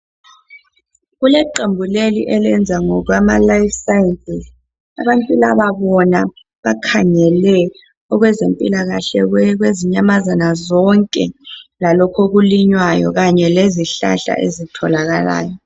Kuleqembu leli elenza ngokwama life sciences abantu laba bona bakhangele okwezempilakahle kwezinyamazana zonke lalokku okulinywayo kanye lezihlahla ezitholakalayo.